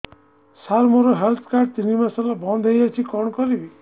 ସାର ମୋର health card ତିନି ମାସ ହେଲା ବନ୍ଦ ହେଇଯାଇଛି କଣ କରିବି